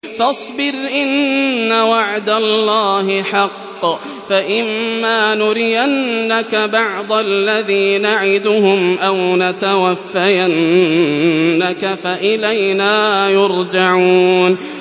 فَاصْبِرْ إِنَّ وَعْدَ اللَّهِ حَقٌّ ۚ فَإِمَّا نُرِيَنَّكَ بَعْضَ الَّذِي نَعِدُهُمْ أَوْ نَتَوَفَّيَنَّكَ فَإِلَيْنَا يُرْجَعُونَ